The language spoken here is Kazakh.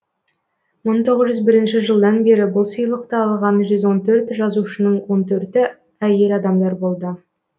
мың тоғыз жүз бірінші жылдан бері бұл сыйлықты алған жүз он төрт жазушының он төрті әйел адамдар болды